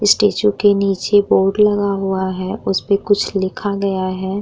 Statue के नीचे board लगा हुआ है। उसपे कुछ लिखा गया है।